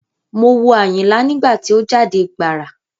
Mo wo Àyìnlá nígbà tí ó jáde gbàrà.